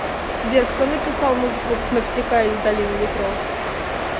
сбер кто написал музыку к навсикая из долины ветров